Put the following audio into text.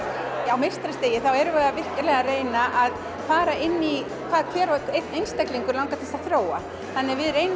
á meistarastigi erum við virkilega að reyna að fara inn í hvað hvern og einn einstakling langar til að þróa þannig að við reynum